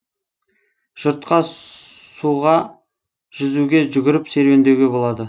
жұртқа суға жүзуге жүгіріп серуендеуге болады